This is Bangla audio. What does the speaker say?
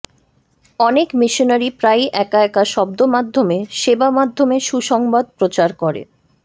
অনেক মিশনারি প্রায়ই একা একা শব্দ মাধ্যমে সেবা মাধ্যমে সুসংবাদ প্রচার করে